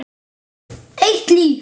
Eitt líf.